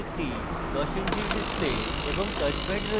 এতে একটি 10 ইঞ্চির display এবং touch প্যাড রয়েছে